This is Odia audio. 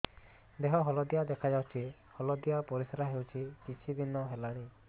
ଦେହ ହଳଦିଆ ଦେଖାଯାଉଛି ହଳଦିଆ ପରିଶ୍ରା ହେଉଛି କିଛିଦିନ ହେଲାଣି